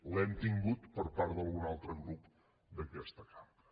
l’hem tingut per part d’algun altre grup d’aquesta cambra